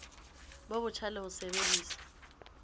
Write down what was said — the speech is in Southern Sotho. bo botjha le ho sebedisa